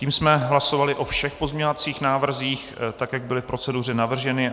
Tím jsme hlasovali o všech pozměňovacích návrzích, tak jak byly v proceduře navrženy.